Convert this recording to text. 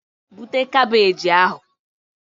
Bute kabeeji ahụ!